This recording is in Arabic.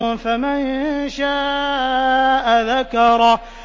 فَمَن شَاءَ ذَكَرَهُ